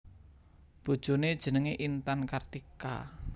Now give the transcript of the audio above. Bojoné jenengé Intan Kartika